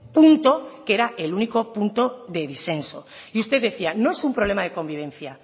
punto que era el único punto de disenso y usted decía no es un problema de convivencia